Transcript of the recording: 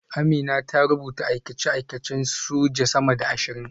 Amina ta rubuta aikace-aikacen soja sama da ashirin